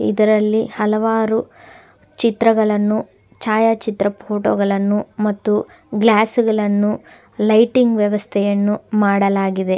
ಇದರಲ್ಲಿ ಹಲವಾರು ಚಿತ್ರಗಳನ್ನು ಛಾಯಾ ಚಿತ್ರ ಫೋಟೋಗಳನ್ನು ಮತ್ತು ಗ್ಲಾಸ್ ಗಳನ್ನು ಲೈಟಿಂಗ್ ವ್ಯವಸ್ಥೆಯನ್ನು ಮಾಡಲಾಗಿದೆ.